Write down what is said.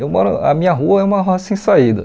Eu moro... A minha rua é uma rua sem saída.